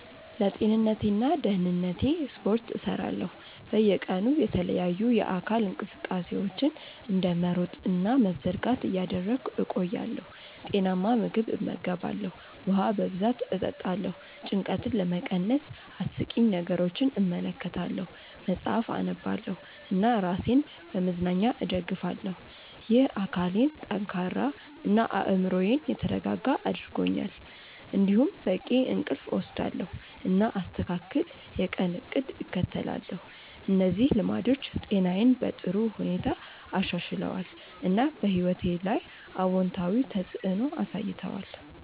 ለጤንነቴና ደህንነቴ ስፖርት እሰራለሁ፣ በየቀኑ የተለያዩ የአካል እንቅስቃሴዎችን እንደ መሮጥ እና መዘርጋት እያደረግሁ እቆያለሁ። ጤናማ ምግብ እመገባለሁ፣ ውሃ በብዛት እጠጣለሁ። ጭንቀትን ለመቀነስ አስቂኝ ነገሮችን እመለከታለሁ፣ መጽሐፍ አነባለሁ እና ራሴን በመዝናኛ እደግፋለሁ። ይህ አካሌን ጠንካራ እና አእምሮዬን የተረጋጋ አድርጎኛል። እንዲሁም በቂ እንቅልፍ እወስዳለሁ፣ እና አስተካክል የቀን እቅድ እከተላለሁ። እነዚህ ልማዶች ጤናዬን በጥሩ ሁኔታ አሻሽለዋል፣ እና በሕይወቴ ላይ አዎንታዊ ተፅዕኖ አሳይተዋል።